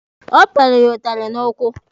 Ọ pịara ya ụtalị n'ụkwụ.